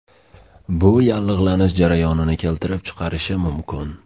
Bu yallig‘lanish jarayonini keltirib chiqarishi mumkin.